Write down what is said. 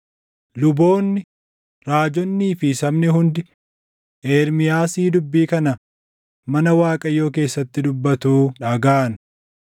Luboonni, raajonnii fi sabni hundi Ermiyaasii dubbii kana mana Waaqayyoo keessatti dubbatu dhagaʼan.